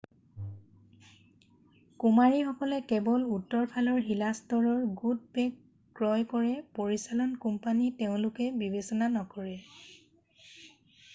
কুমাৰীসকলে কেৱল উত্তৰফালৰ শিলাস্তৰৰ গুড বেক' ক্ৰয় কৰে পৰিচালন কোম্পানী তেওঁলোকে বিবেচনা নকৰে